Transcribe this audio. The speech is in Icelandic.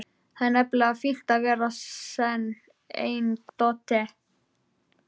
Það er nefnilega fínna að vera sen en dóttir.